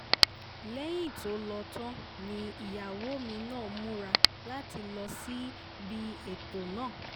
lẹ́yìn tó lọ tán ni ìyàwó mi náà múra láti lọ síbi ètò náà